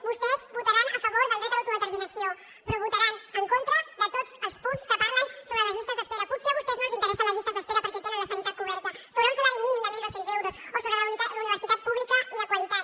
vostès votaran a favor del dret a l’autodeterminació però votaran en contra de tots els punts que parlen sobre les llistes d’espera potser a vostès no els interessen les llistes d’espera perquè tenen la sanitat coberta sobre un salari mínim de mil dos cents euros o sobre la universitat pública i de qualitat